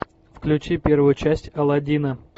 включи первую часть аладдина